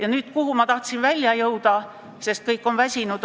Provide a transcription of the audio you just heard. Aga nüüd sellest, kuhu ma tahtsin välja jõuda – kõik on ju väsinud.